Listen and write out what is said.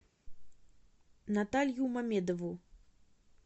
наталью мамедову